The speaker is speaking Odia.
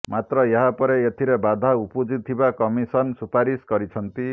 ମାତ୍ର ଏହାପରେ ଏଥିରେ ବାଧା ଉପୁଜିଥିବା କମିଶନ ସୁପାରିସ କରିଛନ୍ତି